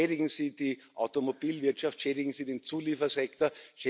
Und schädigen Sie die Automobilwirtschaft, schädigen Sie den Zuliefersektor.